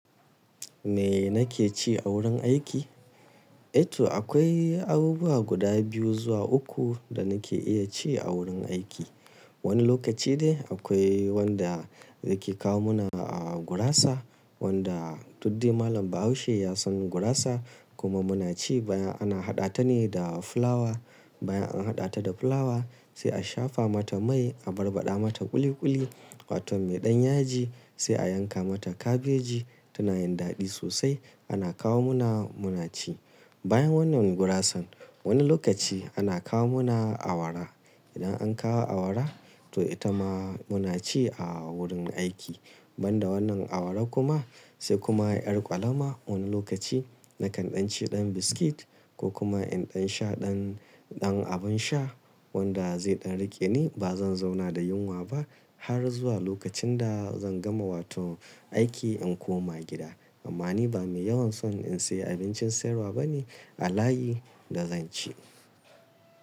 Me nake ci a wurin aiki? Eh to akwai abubuwa guda biyu zuwa uku da nake iya ci a wurin aiki. Wani lokaci de akwai wanda yake kawo mana a gurasa wanda dukde malam Bahaushe ya san gurasa kuma muna ci baya ana haɗa ta ne da fulawa. Bayan an haɗa ta da fulawa sai a shafa mata mai, a barbaɗa mata ƙuli ƙuli wato mai ɗan yaji sai a yanka mata kabeji tana yin daɗi sosai ana kawo muna muna ci. Bayan wannan gurasan wani lokaci ana kawo muna awara. Idan an kawo awara to ita ma muna ci a wurin aiki. Ban da wannan awara kuma sai kuma ƴar ƙwalama wani lokaci nakan ɗan ci ɗan biskit ko kuma in ɗan sha ɗan, ɗan abin sha wanda zai ɗan riƙe ni ba zan zauna da yunwa ba har zuwa lokacin da zan gama wato aiki in koma gida. Amma ni ba mai yawan son in sayi abincin sayarwa bane a layi da zan ci.